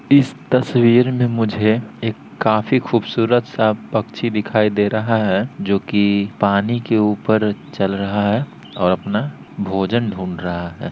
इस तस्वीर में मुझे एक काफी खूबसूरत सा पक्षी दिखाई दे रहा है जो कि पानी के ऊपर चल रहा है और अपना भोजन ढूंढ रहा है।